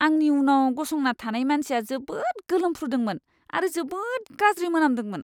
आंनि उनाव गसंना थानाय मानसिया जोबोद गोलोमफ्रुदोंमोन आरो जोबोद गाज्रि मोनामदोंमोन।